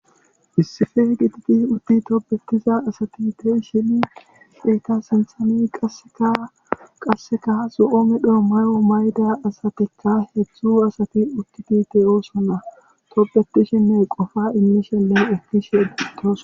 Issife gitidi utti tobetiza asati tehi shini feeta senthani aeaqasseka so7oome dho may7o mayda asateka hedzdzu asati utti bite oosona tobetishinne qofa immishele egish eggitos.